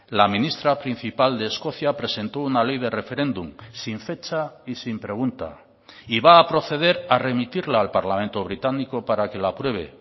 la ministra principal de escocia presentó una ley de referéndum sin fecha y sin pregunta y va a proceder a remitirla al parlamento británico para que la apruebe